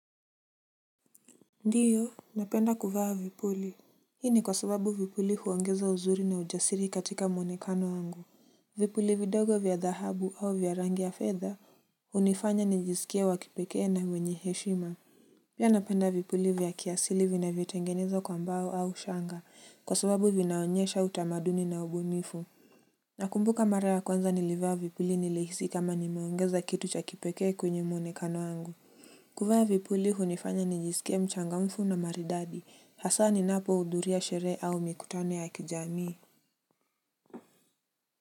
Ndiyo napenda kuvaa vipuli. Hini kwa sababu vipuli huongeza uzuri na ujasiri katika mwonekano wangu. Vipuli vidogo vya dahabu au vya rangi ya fedha unifanya nijisikia wakipekee na wenye heshima. Pia napenda vipuli vya kiasili vina vyo tengenezwa kwa mbao au shanga kwa sababu vinaonyesha utamaduni na ubumifu. Nakumbuka mara ya kwanza nilivaa vipuli nilihisi kama nimeongeza kitu cha kipekee kwenye mwonekano wangu. Kuvaa vipuli hunifanya nijiske mchangamfu na maridadi hasa ni napo uduria sherehe au mikutano ya kijami.